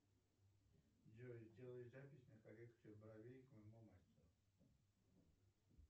джой сделай запись на коррекцию бровей к моему мастеру